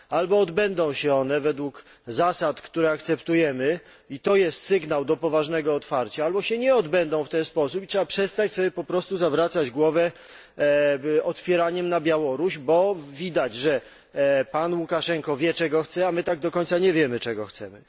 Albo odbędą się one według zasad, które akceptujemy i to jest sygnał do poważnego otwarcia, albo się nie odbędą w ten sposób i trzeba po prostu przestać zawracać sobie głowę otwieraniem na Białoruś, bo widać, że pan Łukaszenko wie, czego chce, a my tak do końca nie wiemy, czego chcemy.